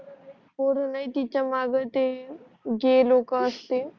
वरूनही तिच्या मग जे लोक जे लोक असतील